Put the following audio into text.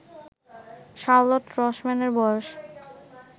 Charlotte রসম্যানের বয়স